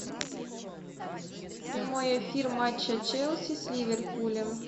прямой эфир матча челси с ливерпулем